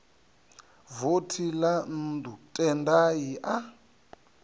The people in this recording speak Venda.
vothi ḽa nnḓu tendai a